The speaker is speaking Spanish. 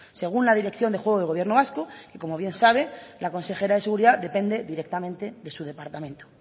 según la dirección del juego del gobierno vasco que como bien sabe la consejera de seguridad depende directamente de su departamento